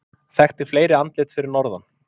Þekkti fleiri andlit fyrir norðan